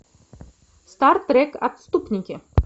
стар трек отступники